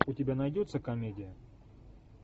у тебя найдется комедия